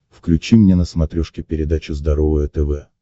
включи мне на смотрешке передачу здоровое тв